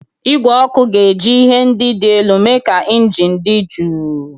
Igwe ọkụ ga-eji ihe ndị dị elu mee ka injin dị jụụ.